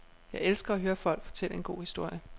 Jeg elsker at høre folk fortælle en god historie.